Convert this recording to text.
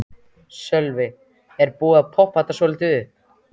Sölvi: Er búið að poppa þetta svolítið upp?